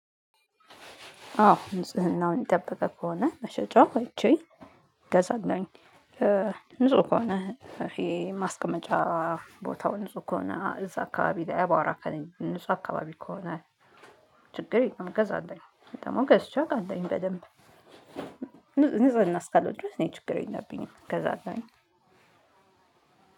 አዎ ንጽህናውን የጠበቀ ከሆነ መሸጫው አይቼ ገዛለሁኝ። ንጽህ ከሆነ ይሄ ማስቀመጫ ቦታው ንጹህ ከሆነ አ እዛ አካባቢ ላይ አቧራ ከሌ ንጹህ አካባቢ ከሆነ ችግር የለውም ገዛለሁኝ። ደግሞ ገዝቼ አቃለሁኝ በደንብ። ንጽ ንጽህና እስካለው ድረስ እኔ ችግር የለብኝም ገዛለሁኝ።